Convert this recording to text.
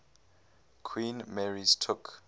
queen mary's took